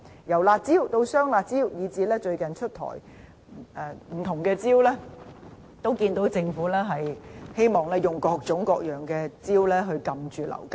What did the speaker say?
由"辣招"到"雙辣招"，以至最近出台的不同招數，在在看到政府希望用各種各樣的招數遏止樓價。